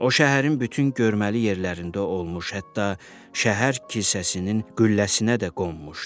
O şəhərin bütün görməli yerlərində olmuş, hətta şəhər kilsəsinin qülləsinə də qonmuşdu.